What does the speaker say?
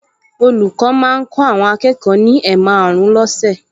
Olùkọ́ máa ń kọ́ akẹ́kọ̀ọ ní ẹ̀maàrún lọ́sẹ̀